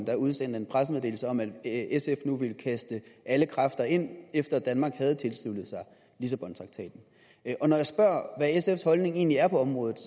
der udsendte en pressemeddelelse om at sf nu ville kaste alle kræfter ind i det efter at danmark havde tilsluttet sig lissabontraktaten og når jeg spørger hvad sfs holdning egentlig er på området